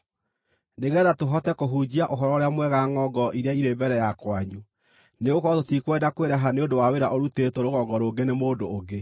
nĩgeetha tũhote kũhunjia Ũhoro-ũrĩa-Mwega ngʼongo iria irĩ mbere ya kwanyu. Nĩgũkorwo tũtikwenda kwĩraha nĩ ũndũ wa wĩra ũrutĩtwo rũgongo rũngĩ nĩ mũndũ ũngĩ.